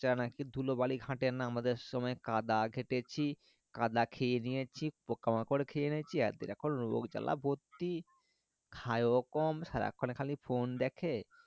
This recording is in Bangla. বাচ্চা রা নাকি ধুলো বালি ঘটে না আমাদের সময় কাদা ঘেটেছি কাদা খেয়েনিয়েছি পোকা মাকড় খেয়ে নিয়েছি এখন রোগ ঝাল ভর্তি কি ও কম সারাক্ষন খালি phone দেখে